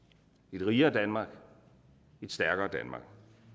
et rigere danmark et stærkere danmark